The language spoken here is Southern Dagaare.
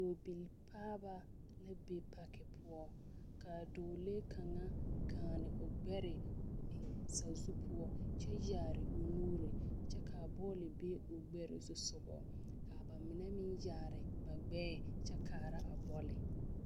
Dɔɔbilipaaba la be paki poɔ k,a dɔɔlee kaŋa gaane o gbɛre eŋ sazu poɔ kyɛ yaare o nuuri kyɛ k,a bɔle be o gbɛre zusoga k,a ba mine meŋ yaare na gbɛɛ kyɛ kaara a bɔle.